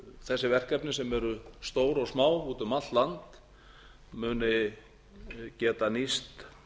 þessi verkefni sem eru stór og smá úti um allt land muni geta nýst